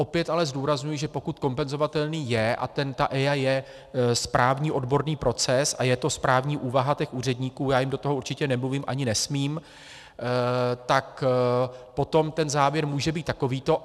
Opět ale zdůrazňuji, že pokud kompenzovatelný je, a ta EIA je správní odborný proces a je to správní úvaha těch úředníků, já jim do toho určitě nemluvím, ani nesmím, tak potom ten závěr může být takovýto.